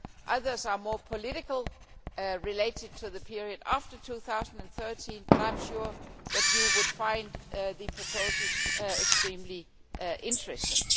Others are more political, related to the period after 2013, but I am sure that you would find the proposals extremely interesting.